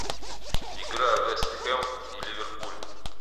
игра вест хэм и ливерпуль